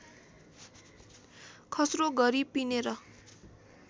खस्रो गरी पिनेर